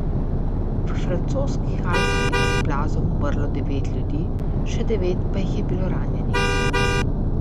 V francoskih Alpah je pod plazom umrlo devet ljudi, še devet pa jih je bilo ranjenih.